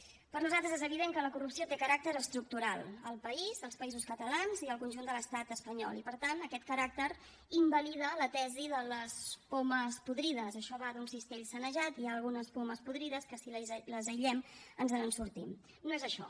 per nosaltres és evident que la corrupció té caràcter estructural al país als països catalans i al conjunt de l’estat espanyol i per tant aquest caràcter invalida la tesi de les pomes podrides això va d’un cistell sanejat i hi ha algunes pomes podrides que si les aïllem ens en sortim no és això